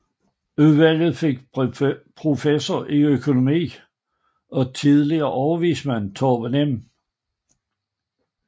Udvalget fik professor i økonomi og tidligere overvismand Torben M